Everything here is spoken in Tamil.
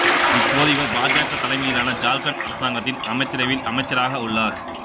இப்போது இவர் பாஜக தலைமையிலான ஜார்க்கண்ட் அரசாங்கத்தின் அமைச்சரவையில் அமைச்சராக உள்ளார்